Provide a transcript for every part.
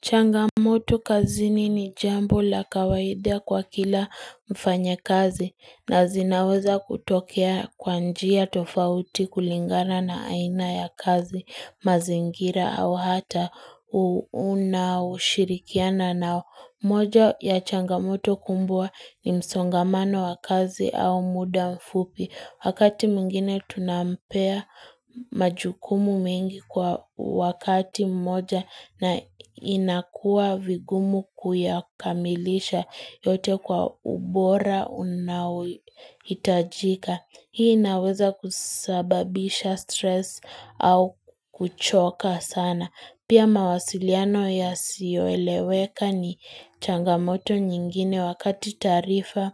Changamoto kazini ni jambo la kawaida kwa kila mfanya kazi na zinaweza kutokea kwa njia tofauti kulingana na aina ya kazi mazingira au hata uuna au shirikiana na moja ya changamoto kumbua ni msongamano wa kazi au muda mfupi. Wakati mwingine tunampea majukumu mengi kwa wakati mmoja na inakua vigumu kuyakamilisha yote kwa ubora unaowitajika. Hii inaweza kusababisha stress au kuchoka sana. Pia mawasiliano ya siyeweleweka ni changamoto nyingine wakati tarifa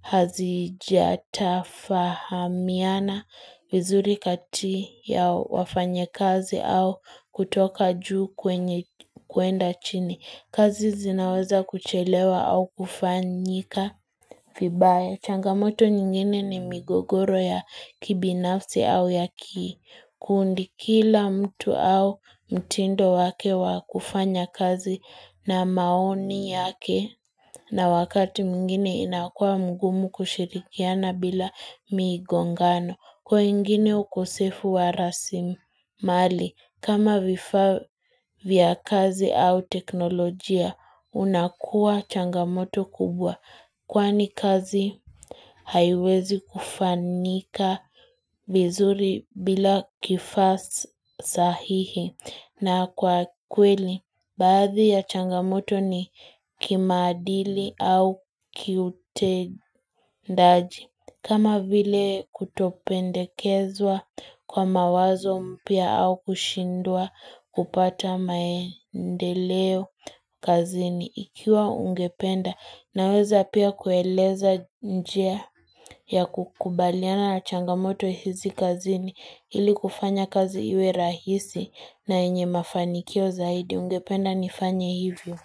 hazijatafahamiana vizuri kati ya wafanye kazi au kutoka juu kuenda chini. Kazi zinaweza kuchelewa au kufanyika vibaya. Changamoto nyingine ni migogoro ya kibinafsi au ya kii. Kuundi kila mtu au mtindo wake wakufanya kazi na maoni yake na wakati mwingine inakua mgumu kushirikiana bila migongano. Kwa wengine ukosefu wa rasimali kama vifa vya kazi au teknolojia unakua changamoto kubwa. Kwani kazi, haiwezi kufanyika vizuri bila kifa sahihi na kwa kweli. Badhi ya changamoto ni kimadili au kiutendaji. Kama vile kutopendekezwa kwa mawazo mpia au kushindua kupata maendeleo kazini. Ikiwa ungependa na weza pia kueleza njia ya kukubaliana na changamoto hizi kazini ili kufanya kazi iwe rahisi na enye mafanikio zaidi ungependa nifanya hivyo.